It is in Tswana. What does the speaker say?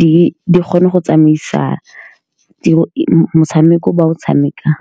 di kgone go tsamaisa motshameko o ba o tshamekang.